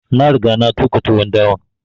Na riga na tuƙa tuwon dawan